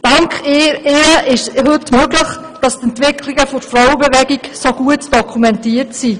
Dank ihr wurde es möglich, dass die Entwicklungen der Frauenbewegung heute so gut dokumentiert sind.